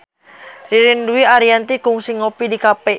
Ririn Dwi Ariyanti kungsi ngopi di cafe